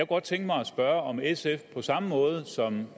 godt tænke mig at spørge om sf på samme måde som